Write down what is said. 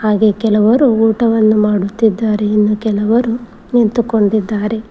ಹಾಗೆ ಕೆಲವರು ಊಟವನ್ನು ಮಾಡುತ್ತಿದ್ದಾರೆ ಇನ್ನ ಕೆಲವರು ನಿಂತುಕೊಂಡಿದ್ದಾರೆ.